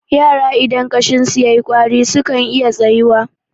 yara idan ƙashinsu ya yi ƙwari sukan iya tsayuwa